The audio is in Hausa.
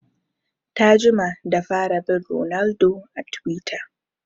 Ta jima da fara bin ronaldo a twitter